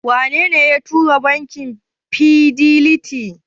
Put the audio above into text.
Wanene ya turaka bankin Fidelity?